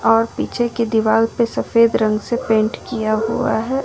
और पीछे की दीवार पे सफेद रंग से पेंट किया हुआ है।